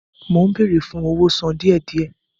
Mó ń béèrè fún owó sàn díẹ̀-díẹ̀